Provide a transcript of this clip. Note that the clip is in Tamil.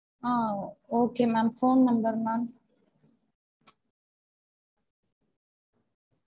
ah okay ma'am phone number ma'am